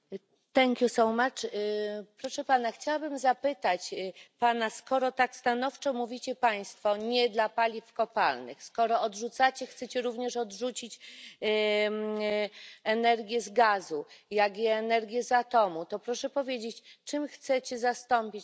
Proszę Pana, chciałbym zapytać Pana, skoro tak stanowczo mówicie państwo nie dla paliw kopalnych, skoro chcecie również odrzucić energię z gazu, jak i energię z atomu, to proszę powiedzieć, czym chcecie zastąpić tę energię?